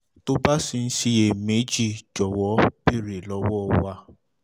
tó o bá ṣì ń siyèméjì jọ̀wọ́ béèrè lọ́wọ́ wa